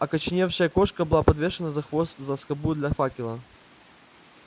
окоченевшая кошка была подвешена за хвост за скобу для факела